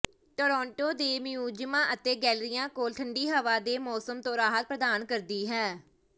Toronto ਦੇ ਮਿਊਜ਼ੀਅਮਾਂ ਅਤੇ ਗੈਲਰੀਆਂ ਕੋਲ ਠੰਡੀ ਹਵਾ ਦੇ ਮੌਸਮ ਤੋਂ ਰਾਹਤ ਪ੍ਰਦਾਨ ਕਰਦੀ ਹੈ